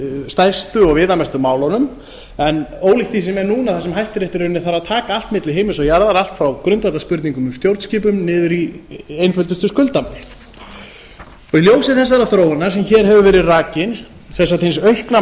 stærstu og viðamestu málunum ólíkt því sem er núna þar sem hæstiréttur þarf í rauninni að taka allt milli himins og jarðar allt frá grundvallarspurningum um stjórnskipun niður í einföldustu skuldamál í ljósi þessarar þróunar sem hér hefur verið rakin sem sagt hins aukna